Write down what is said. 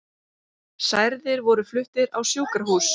Særðir voru fluttir á sjúkrahús